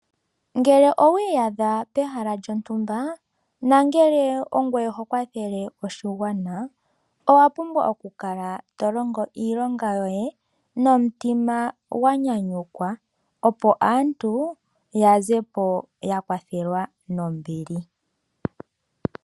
Ngele owiiyadha pehala lyontumba, ngele ongoye ho kwathele oshigwana owa pumbwa oku kala to longo iilonga yoye nomutima gwanyanyukwa. Opo aantu ya zepo ya kwathelwa nombili.